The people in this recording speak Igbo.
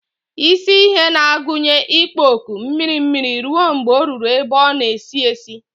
Isi ihe na-agụnye ikpo ọkụ mmiri mmiri ruo mgbe ọ ruru ebe ọ na-esi esi.